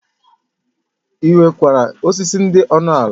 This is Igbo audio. E nwerike osisi dị ọnụ ala